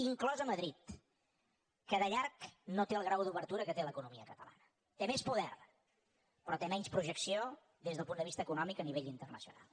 inclosa madrid que de llarg no té el grau d’obertura que té l’economia catalana té més poder però té menys projecció des del punt de vista econòmic a nivell internacional